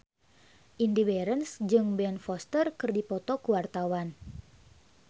Indy Barens jeung Ben Foster keur dipoto ku wartawan